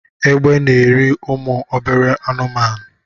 Egbe na-eri umu obere anụmanụ